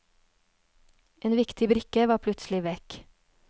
En viktig brikke var plutselig vekk.